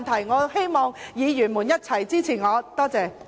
我希望議員一起支持我，多謝。